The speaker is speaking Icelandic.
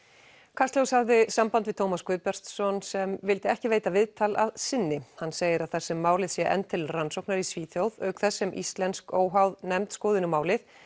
kastljós hafði samband við Tómas Guðbjartsson sem vildi ekki veita viðtal að sinni hann segir að þar sem málið sé enn til rannsóknar í Svíþjóð auk þess sem íslensk óháð nefnd skoði nú málið